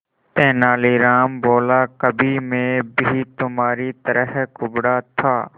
तेनालीराम बोला कभी मैं भी तुम्हारी तरह कुबड़ा था